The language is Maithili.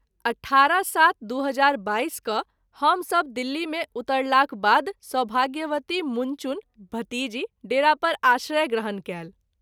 18-07-2022 क’ हम सभ दिल्ली मे उतरलाक बाद सौभाग्यवती मुनचुन( भतीजी ) डेरा पर आश्रय ग्रहण कएल।